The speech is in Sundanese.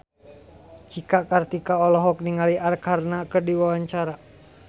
Cika Kartika olohok ningali Arkarna keur diwawancara